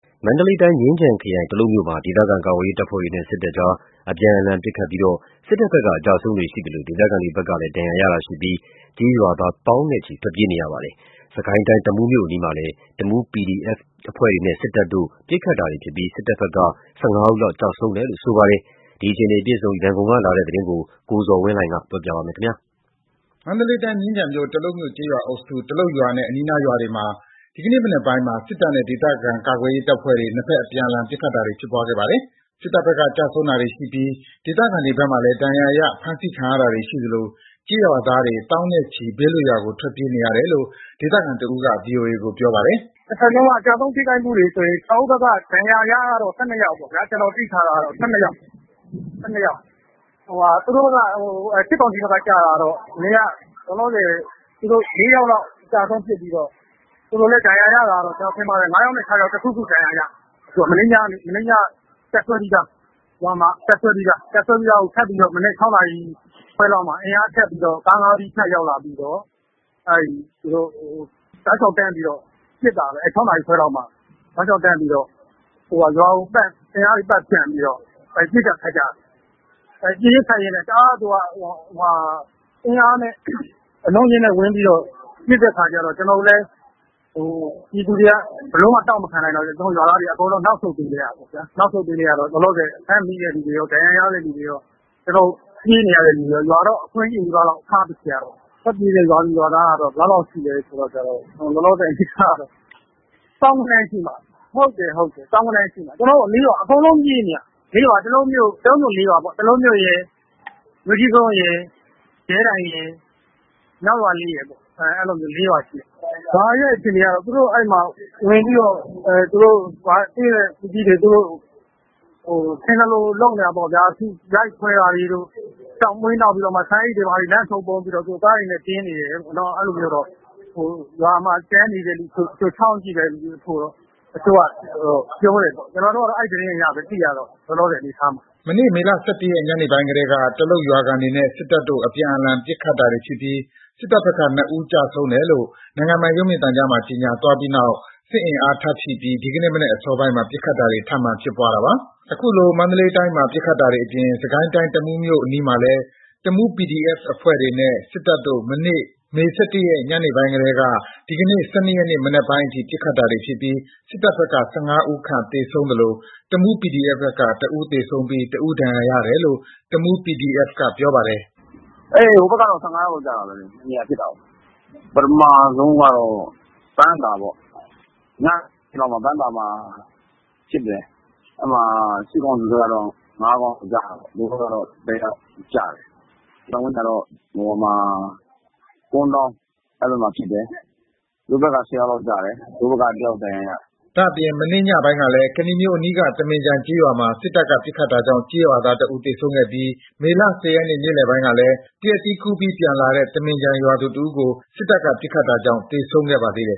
မန္တလေးတိုင်း၊ မြင်းခြံခရိုင် တလုပ်မြို့မှာ ဒေသခံကာကွယ်ရေးတပ်ဖွဲ့တွေနဲ့ စစ်တပ်တို့ အပြန်အလှန် ပစ်ခတ်တာတွေဖြစ်ပွားလို့ စစ်တပ်ဘက်က အကျအဆုံးတွေ ရှိသလို ဒေသခံတွေဘက်ကလည်း ဒဏ်ရာရတာတွေရှိပြီး ကျေးရွာသားတွေ သောင်းနဲ့ချီထွက်ပြေးနေရပါတယ်။ စစ်ကိုင်းတိုင်း၊ တမူးမြို့အနီးမှာလည်း တမူး PDF အဖွဲ့တွေနဲ့ စစ်တပ်တို့ ပစ်ခတ်တာတွေ ဖြစ်ပွားပြီး စစ်တပ်ဘက်က ၁၅ ဦးခန့် ကျဆုံးတယ်လို့ ဆိုပါတယ်။ ဒီအခြေအနေ အပြည့်အစုံ ရန်ကုန်ကလာတဲ့ သတင်းကို ကိုဇော်ဝင်းလှိုင်က ပြောပြပါမယ်။ မန္တလေးတိုင်း၊ မြင်းခြံခရိုင် တလုပ်မြို့ ကျေးရွာအုပ်စု တလုပ်ရွာနဲ့ အနီးနားရွာတွေမှာ ဒီကနေ့ မနက်ပိုင်းမှာ စစ်တပ်နဲ့ ဒေသခံကာကွယ်ရေးအဖွဲ့တွေ ၂ ဘက် အပြန်အလှန် ပစ်ခတ်တာတွေ ဖြစ်ပွားခဲ့တာပါ။ စစ်တပ်ဘက်က ကျဆုံးတာတွေ ရှိပြီး ဒေသခံတွေဘက်မှလည်း ဒဏ်ရာရ၊ ဖမ်းဆီးခံရတာတွေ ရှိသလို ကျေးရွာသားတွေ သောင်းနဲ့ချီ ဘေးလွတ်ရာကို ထွက်ပြေးနေရတယ်လို့ ဒေသခံတဦးက ဗွီအိုအေကို ပြောပါတယ်။ “၂ ဘက်လုံးက ကျဆုံးထိခိုက်မှုတွေဆိုရင် ကျနော်တို့ဘက်က ဒဏ်ရာရကတော့ ၁၂ ယောက်ပေါ့ဗျာ။ ကျနော် သိထားတာက ၁၂ ယောက်၊ စစ်ကောင်စီဘက်က ကျတာတော့ လောလောဆယ် ၄ ယောက်လောက် အကျအဆုံးဖြစ်ပြီးတော့ သူတို့လည်း ကျနော်ထင်ပါတယ် ၅ ယောက်နဲ့ ၆ ယောက် တခုခု ဒဏ်ရာရတယ်။ မနေ့ညက တပ်စွဲပြီးသား တပ်စွဲပြီးသားကို မနက် ၆ နာရီခွဲလောက်မှာ ကား ၅ စီးနဲ့ အင်အား ထပ်ရောက်လာတယ်။ ရောက်လာပြီးတော့ တောက်လျှောက်တန်းပြီး ပစ်တာပဲ ၆ နာရီခွဲလောက်မှာ ရွာကိုပတ်၊ အင်အားတွေ ပတ်ဖြန့်ပြီးတော့ ပစ်ကျ၊ ခတ်ကျ... ပစ်ရင်း၊ ခတ်ရင်းနဲ့ တအားတွေ အင်အားနဲ့ အလုံးနဲ့အရင်းနဲ့ ပစ်တဲ့အခါကျတော့ ကျနော်တို့လည်း ပြည်သူတွေက ဘယ်လိုမှ တောင့်မခံနိုင်တော့ ကျနော်တို့ ရွာသားတွေ အကုန်နောက်ဆုတ်ပေးလိုက်ရတာပေါ့။ လောလောဆယ် ဖမ်းမိတဲ့သူတွေကော ဒဏ်ရာရတဲ့ သူတွေရော၊ ပြေးနေရတဲ့သူတွေရော ရွာကြီးလည်း အခွံ့ကြီးနီးပါးထားခဲ့ရတာပေါ့။ ထွက်ပြေးတဲ့ ရွာသူ၊ ရွာသားက ဘယ်လောက်လောက်ရှိလဲဆိုတော့ သောင်းဂဏန်းလောက်ရှိတယ်။ သောင်းဂဏန်းလောက်ရှိတယ်။ ကျနော်တို့ ၄ ရွာ အကုန်ပြေးနေရတာ။ ၄ ရွာက တလုပ်မြို့ ၄ ရွာပေါ့... တလုပ်မြို့ရယ်၊ မြို့ကြီးကုန်းရယ်၊ ရဲတိုင်ရယ်၊ မြောက်ရွာလေးရယ်ပေါ့ အဲ့ဒီလို ၄ ရွာရှိတယ်။ ရွာရဲ့အခြေအနေက သူတို့ဝင်ပြီးတော့ ရွာကို ထင်သလို လုပ်နေတာပေါ့ဗျာ။ ရိုက်ခွဲတာတွေတို့ ဆန်အိတ်တွေ၊ လမ်းပေါ် ပုံပြီးတော့ ကားတွေနဲ့တင်နေတယ်လို့။ အဲ့ဒီလိုမျိုးတော့ ရွာမှာ ကျန်နေတဲ့သူ ချောင်းကြည့်တဲ့သူတချို့က ပြောတယ်။ ကျနော်တို့က အဲ့ဒီသတင်းအရပဲ လောလောဆယ် သိရတာ။” မနေ့ မေ ၁၁ ရက် ညနေပိုင်းကတည်းက တလုတ်ရွာခံတွေနဲ့ စစ်တပ်တို့ အပြန်အလှန် ပစ်ခတ်တာတွေဖြစ်ပြီး စစ်တပ်ဘက်က ၂ ဦး ကျဆုံးတယ်လို့ နိုင်ငံပိုင်ရုပ်မြင်သံကြားမှာ ကြေငြာသွားပြီးနောက် စစ်အင်အား ထပ်ဖြည့်တင်းပြီး ဒီကနေ့ မနက်အစောပိုင်းမှာ ပစ်ခတ်တာတွေ ထပ်မံဖြစ်ပွားတာပါ။ အခုလို မန္တလေးတိုင်းမှာ ပစ်ခတ်တာတွေအပြင် စစ်ကိုင်းတိုင်း၊ တမူးမြို့အနီးမှာလည်း တမူး PDF အဖွဲ့တွေနဲ့ စစ်တပ်တို့ မနေ့ မေ ၁၁ ရက် ညပိုင်းကတည်းက ဒီကနေ့ ၁၂ ရက် မနက်ပိုင်းအထိ ပစ်ခတ်တာတွေဖြစ်ပြီး စစ်တပ်ဘက်က ၁၅ ဦးခန့် သေဆုံးသလို တမူး PDF ဘက်က ၁ ဦးသေဆုံးပြီး ၁ ဦး ဒဏ်ရာရတယ်လို့ တမူး PDF က ပြောပါတယ်။ “ဟိုဘက်က ၁၅ ယောက်လောက်ကျတယ်။ ၂ နေရာဖြစ်တာကို ပထမဆုံးက ပန်းသာပေါ့။ ညမှာ ပန်းသာမှာ ဖြစ်တယ်။ အဲ့ဒီမှာ စစ်ကောင်စီဘက်က ၅ ကောင်ကျတာပေါ့။ တို့ဘက်ကတော့ ၁ ယောက်ကျတယ်။ နောက်ပိုင်းကျတော့ ကွန်းတောင်းမှာ ဖြစ်တယ်။ သူတို့ဘက်က ၁၀ ယောက်လောက်ကျတယ်။ တို့ဘက် ၁ ယောက် ဒဏ်ရာရတယ်။” ဒါ့အပြင် မနေ့ညပိုင်းကလည်း ကနီမြို့အနီးက သမင်ခြံကျေးရွာမှာ စစ်တပ်က ပစ်ခတ်တာကြောင့် ကျေးရွာသား ၁ ဦးသေဆုံးခဲ့ပြီး မေ ၁၀ ရက်နေ့လယ်ပိုင်းကလည်း သရက်သီးခူးပြီး ပြန်လာတဲ့ သမင်ခြံရွာသူ တဦးကို စစ်တပ်က ပစ်ခတ်တာကြောင့် သေဆုံးခဲ့ပါသေးတယ်